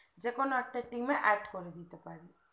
যেকোনো একটা team add করে দিতে পারি